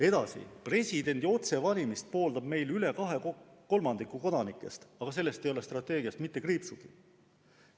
Edasi, presidendi otsevalimist pooldab meil üle kahe kolmandiku kodanikest, aga sellest ei ole strateegias mitte kriipsugi.